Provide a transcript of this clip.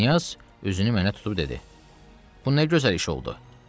Knyaz üzünü mənə tutub dedi: Bu nə gözəl iş oldu.